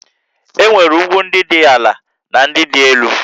E nwere ugwu ndị dị ala na ndị dị elu